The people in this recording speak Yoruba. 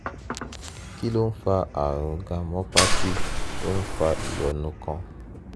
kí ló ń fa àrùn gàmọ́pátì tó ń fa ìyọnu kan?